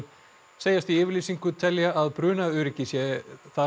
segjast í yfirlýsingu telja að brunaöryggi þar